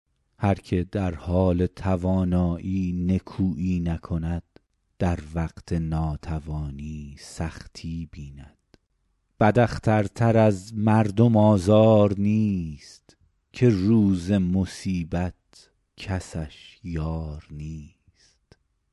هر که در حال توانایی نکویی نکند در وقت ناتوانی سختی بیند بد اختر تر از مردم آزار نیست که روز مصیبت کسش یار نیست